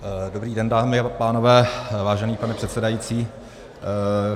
Dobrý den, dámy a pánové, vážený pane předsedající.